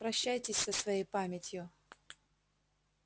прощайтесь со своей памятью